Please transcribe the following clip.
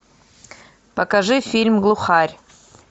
покажи фильм глухарь